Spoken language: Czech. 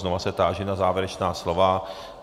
Znovu se táži na závěrečná slova?